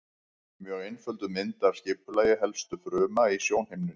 Mjög einfölduð mynd af skipulagi helstu fruma í sjónhimnunni.